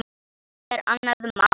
Það er annað mál.